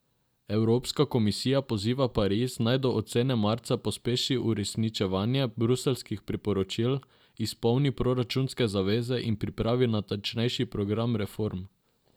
Evropska komisija poziva Pariz, naj do ocene marca pospeši uresničevanje bruseljskih priporočil, izpolni proračunske zaveze in pripravi natančnejši program reform.